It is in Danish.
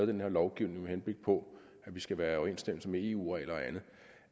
den her lovgivning med henblik på at vi skal være i overensstemmelse med eu regler og andet